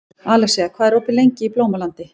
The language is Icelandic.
Alexía, hvað er opið lengi í Blómalandi?